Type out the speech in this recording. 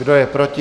Kdo je proti?